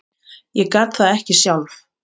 Ég gat það ekki sjálf.